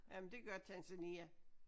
Jamen det gør Tanzania